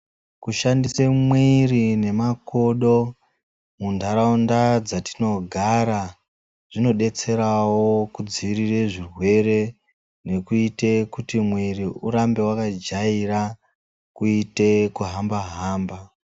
Ku shandise mwiri ne makodo mu ndaraunda dzatino gara zvino detserawo ku dzivirire zvirwere nekuite kuti mwiri urambe waka jaira kuite kuhamba hamba.